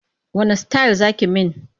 Wanne sitayil za ki yi min?